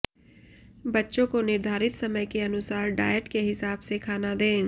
बच्चों को निर्धारित समय के अनुसार डॉयट के हिसाब से खाना दें